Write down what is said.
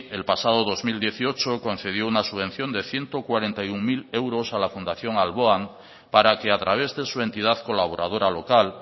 el pasado dos mil dieciocho concedió una subvención de ciento cuarenta y uno mil euros a la fundación alboan para que a través de su entidad colaboradora local